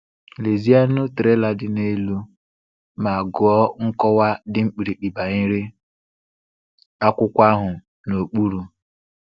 Lezienụ trela dị n’elu ma gụọ nkọwa dị mkpirikpi banyere akwụkwọ ahụ n’okpuru.